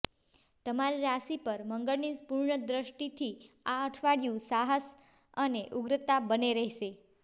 તમારી રાશિ પર મંગળની પૂર્ણ દ્રષ્ટિથી આ અઠવાડિયું સાહસ અને ઉગ્રતા બંને રહેશે